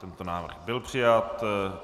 Tento návrh byl přijat.